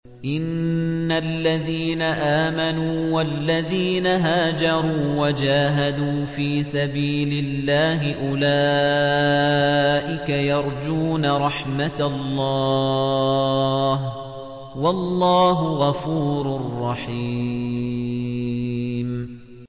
إِنَّ الَّذِينَ آمَنُوا وَالَّذِينَ هَاجَرُوا وَجَاهَدُوا فِي سَبِيلِ اللَّهِ أُولَٰئِكَ يَرْجُونَ رَحْمَتَ اللَّهِ ۚ وَاللَّهُ غَفُورٌ رَّحِيمٌ